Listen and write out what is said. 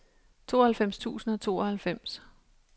tooghalvfems tusind og tooghalvfems